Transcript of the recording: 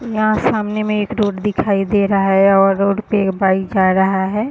यहाँ सामने में एक रोड दिखाई दे रहा है और रोड पे एक बाइक जा रहा है।